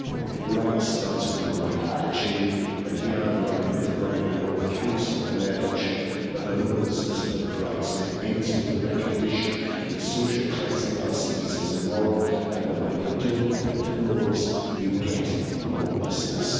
Putting it right starts with the right attitude, and here I want to praise Brighton and Hove Council and their adoption of a homelessness bill of rights, and it ends with the recognition that social cleansing of our cities is immoral and that when you don't build homes, you get homelessness.